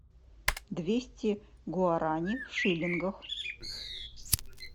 двести гуарани в шиллингах